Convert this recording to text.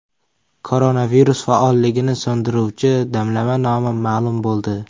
Koronavirus faolligini so‘ndiruvchi damlama nomi ma’lum bo‘ldi.